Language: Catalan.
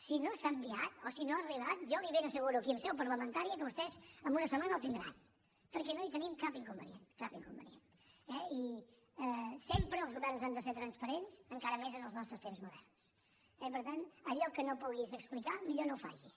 si no s’ha enviat o si no ha arribat jo li ben asseguro aquí en seu parlamentària que vostès en una setmana el tindran perquè no hi tenim cap inconvenient cap inconvenient eh sempre els governs han de ser transparents encara més en els nostres temps moderns eh i per tant allò que no puguis explicar millor no ho facis